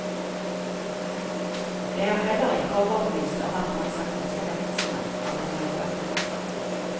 Jeg er heller ikke overbevist om at man ser konsekvensene av det man gjør.